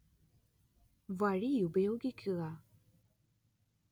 വഴിയുപയോഗിക്കുക